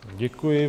Děkuji.